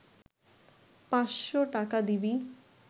৫০০ টাকা দিবি